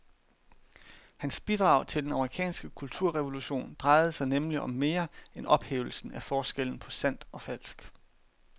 Hans bidrag til den amerikanske kulturrevolution drejede sig nemlig om mere end ophævelsen af forskellen på sandt og falsk.